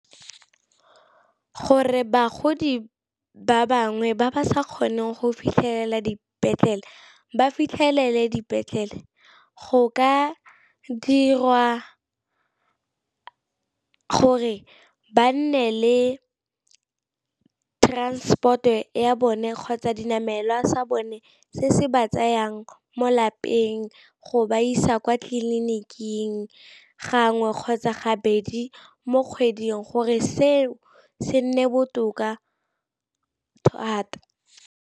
Gore bagodi ba bangwe ba ba sa kgoneng go fitlhelela dipetlele ba fitlhelele dipetlele, go ka dirwa gore ba nne le transport-e ya bone kgotsa dinamelwa sa bone se se ba tsayang mo lapeng go ba isa kwa tleliniking gangwe kgotsa gabedi mo kgweding gore seo se nne botoka thata.